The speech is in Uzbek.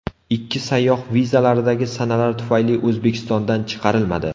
Ikki sayyoh vizalaridagi sanalar tufayli O‘zbekistondan chiqarilmadi.